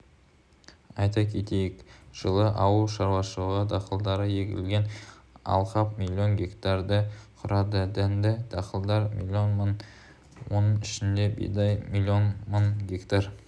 айта кетейік жылы ауыл шаруашылығы дақылдары егілген алқап млн гектарды құрады дәнді дақылдар млн мың оның ішінде бидай млн мың гектар